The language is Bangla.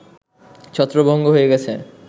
ছত্রভঙ্গ হয়ে গেছে